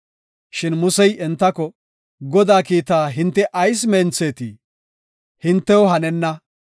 Shin Musey entako, “Godaa kiitaa hinte ayis menthetii? Hintew hanenna.